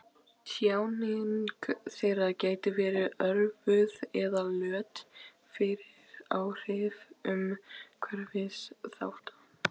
Tjáning þeirra gæti verið örvuð eða lött fyrir áhrif umhverfisþátta.